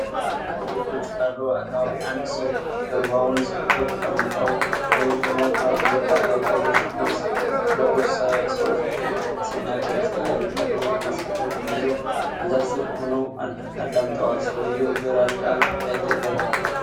ከቤት ውጭ ባለው አካባቢ አንድ ሰው ጀርባውን ሰጥቶ፣ ተቀምጠው ወይም ቆመው ካሉ በርካታ ወታደራዊ ልብስ ከለበሱ ሰዎች ፊት ሲናገር ያሳያል። ወታደሮቹ መሣሪያዎችን ይዘው በዛፍ ሥር ሆነው አዳምጠዋል። ሰውየው ግራጫ ጃኬት ለብሷል።